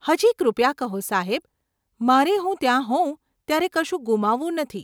હજી, કૃપયા કહો સાહેબ, મારે હું ત્યાં હોઉં ત્યારે કશું ગુમાવવું નથી.